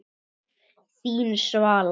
Þín, Svala.